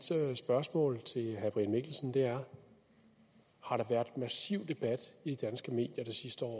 spørgsmål til herre brian mikkelsen er har der været massiv debat i danske medier de sidste år